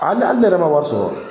Ale hali ne yɛrɛ ma wari sɔrɔ